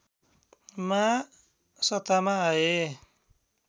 मा सत्तामा आए